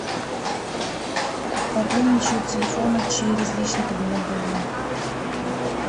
пополнить счет телефона через личный кабинет билайн